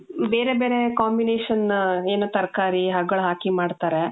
ಬೇರೆ ಬೇರೆ combination, ಏನು ತರಕಾರಿ ಹಗಲ್ ಹಾಕಿ ಮಾಡ್ತಾರೆ.